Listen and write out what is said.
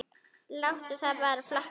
Láttu það bara flakka!